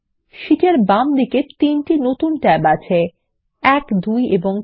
sheet এর বাম দিকে 3টে নতুন ট্যাব আছে1 2 এবং 3